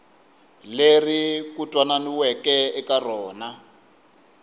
leri ku twananiweke eka rona